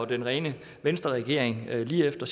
den rene venstreregering lige efter